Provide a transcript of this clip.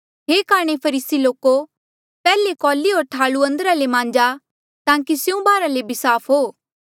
हे काणे फरीसी लोको पैहले कौली होर थालू अंदरा ले मांजा ताकि स्यों बाहरा ले भी साफ हो